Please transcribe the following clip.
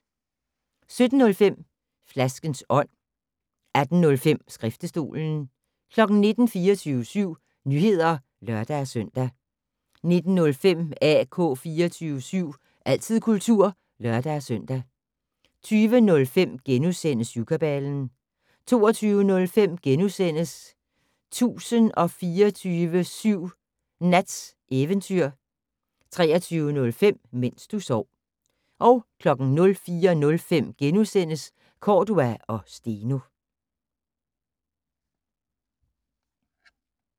17:05: Flaskens ånd 18:05: Skriftestolen 19:00: 24syv Nyheder (lør-søn) 19:05: AK 24syv - altid kultur (lør-søn) 20:05: Syvkabalen * 22:05: 1024syv Nats Eventyr * 23:05: Mens du sov 04:05: Cordua & Steno *